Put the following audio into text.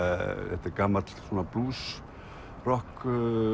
þetta er gamall